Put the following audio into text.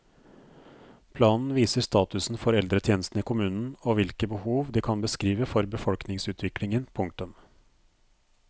Planen viser statusen for eldretjenestene i kommunen og hvilke behov de kan beskrive for befolkningsutviklingen. punktum